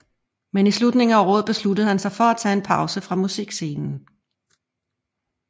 Men i slutningen af året besluttede han sig for at tage en pause fra musikscenen